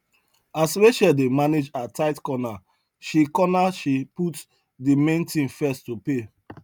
as rachel dey manage her tight corner she corner she put de main thing first to pay